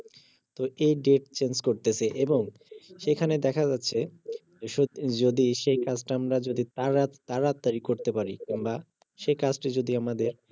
এই date change করতেছে এবং সেখানে দেখা যাচ্ছে যদি সেই কাজটা আমরা যদি তারা~তারাতারি করতে পারি আমরা সেই কাজটা যদি আমাদের